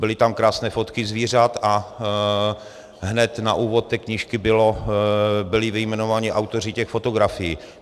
Byly tam krásné fotky zvířat a hned na úvod té knížky byli vyjmenováni autoři těch fotografií.